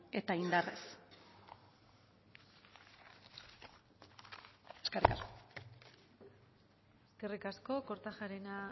eta indarrez eskerrik asko eskerrik asko kortajarena